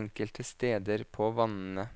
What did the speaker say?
enkelte steder på vannene.